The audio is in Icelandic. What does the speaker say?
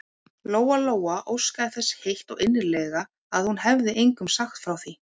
Lóa-Lóa óskaði þess heitt og innilega að hún hefði engum sagt frá því.